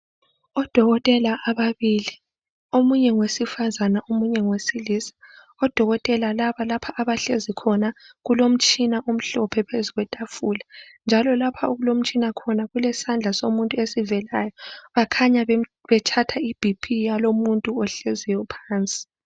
Odokotela ababili omunye ngowesifazane omunye ngowesilisa odokotela laba lapha abahlezi khona kulomtshina omhlophe phezu kwetafula njalo lapha okulomtshina khona kulesandla somuntu esivelayo bakhanya bethatha ibhiphi yalomuntu ohleziyo phansi.